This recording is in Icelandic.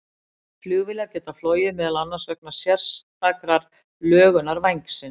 Flugvélar geta flogið meðal annars vegna sérstakrar lögunar vængsins.